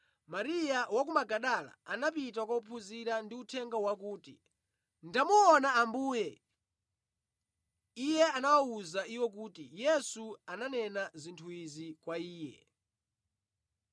Mariya wa ku Magadala anapita kwa ophunzira ndi uthenga wakuti, “Ndamuona Ambuye!” Iye anawawuza iwo kuti Yesu ananena zinthu izi kwa iye.